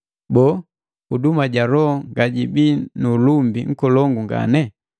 boo, huduma ja Loho ngajibii nu ulumbi nkolongu ngane!